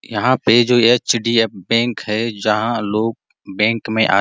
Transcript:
यहाँ पे जो एचडीएफ बैंक हैं जहाँ लोग बैंक में आते --